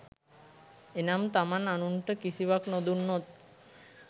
එනම්, තමන් අනුන්ට කිසිවක් නොදුන්නොත්